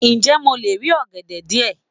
Ǹjẹ́ mo lè rí ọ̀gẹ̀dẹ̀ díẹ̀?